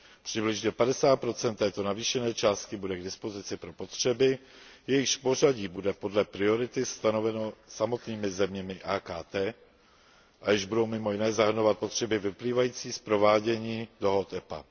Přibližně 50 této navýšené částky bude k dispozici pro potřeby, jejichž pořadí bude podle priority stanoveno samotnými zeměmi AKT a jež budou mimo jiné zahrnovat potřeby vyplývající z provádění dohod EPA.